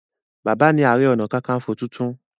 Bàbá ní are onakakanfo títún.